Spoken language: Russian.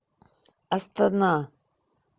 астана